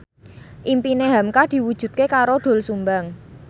impine hamka diwujudke karo Doel Sumbang